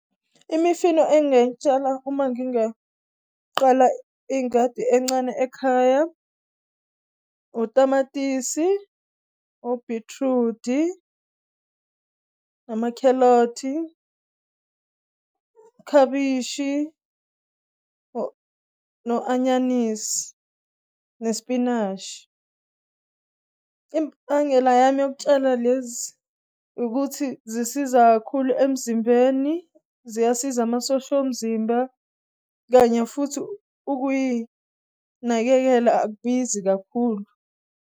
Imifino engay'tshala uma ngingaqala ingadi encane ekhaya, otamatisi, obhithrudi, amakhelothi, khabishi, no-anyanisi nesipinashi. Imbangela yami yokutshala lezi ukuthi zisiza kakhulu emzimbeni, ziyasiza amasosha, omzimba kanye futhi ukuyinakekela akubizi kakhulu.